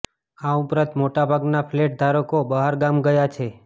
આ ઉપરાંત મોટાભાગના ફ્લેટ ધારકો બહાર ગામ ગયા છે